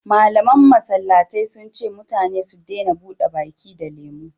malaman masallatai sun ce mutane su dena buɗe baki da lemo